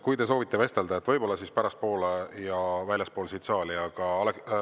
Kui te soovite vestelda, siis tehke seda võib-olla pärastpoole ja väljaspool saali.